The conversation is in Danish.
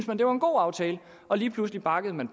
man det var en god aftale og lige pludselig bakkede man